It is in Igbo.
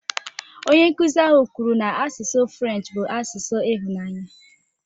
Onye nkụzi ahụ kwuru na asụsụ French bụ asụsụ ịhụnanya